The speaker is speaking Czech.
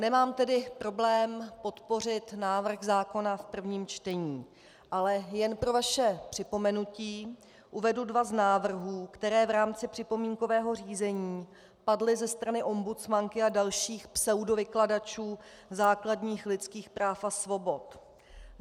Nemám tedy problém podpořit návrh zákona v prvním čtení, ale jen pro vaše připomenutí uvedu dva z návrhů, které v rámci připomínkového řízení padly ze strany ombudsmanky a dalších pseudovykladačů základních lidských práv a svobod.